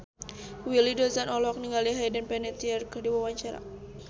Willy Dozan olohok ningali Hayden Panettiere keur diwawancara